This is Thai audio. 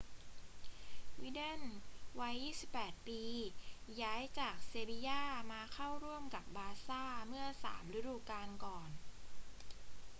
วิดัลวัย 28 ปี ย้ายจากเซบีญ่ามาเข้าร่วมกับบาร์ซ่าเมื่อสามฤดูกาลก่อน